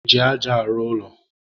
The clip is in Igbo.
e ji aja arụ ụlọ.